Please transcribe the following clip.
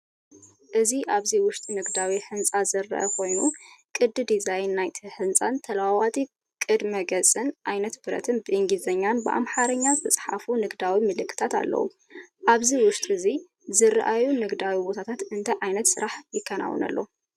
እዚ ኣብዚ ውሽጢ ንግዳዊ ህንጻ ዝረአ ኾይኑ ቅዲ ዲዛይን ናይቲ ህንጻን ተለዋዋጢ ቅድመ-ገጽን ዓይነት ብረትን ብእንግሊዝኛን ኣምሓርኛን ዝተጻሕፉ ንግዳዊ ምልክታት ኣለዉዎ። ኣብ ውሽጢ አዚ ዝረኣዩ ንግዳዊ ቦታታት እንታይ ዓይነት ስራሕቲ ይከናወነሎም?